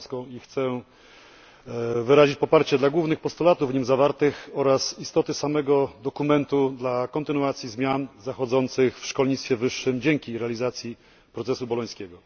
Rybacką i chciałbym wyrazić poparcie dla głównych postulatów w nim zawartych oraz dla istoty samego dokumentu dla kontynuacji zmian zachodzących w szkolnictwie wyższym dzięki realizacji procesu bolońskiego.